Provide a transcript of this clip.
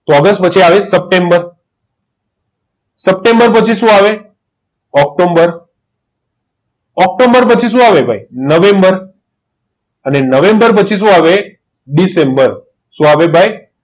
August પછી આવે September September પછી સુ આવે છે ઓક્ટોમ્બર ઓકોંબર પછી સુ આવે ભાઈ નવેમ્બર અને નવેમ્બર પછી સુ આવે ભાઈ દિસેમ્બર સુ આવે ભાઈ